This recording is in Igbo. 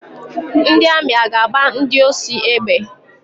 Ndị amị a ga-agba ndị oshi egbe?